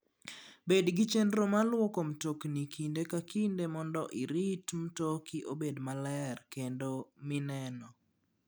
Bed gi chenro mar lwoko mtokni kinde ka kinde mondo irit mtoki obed maler kendo mineno.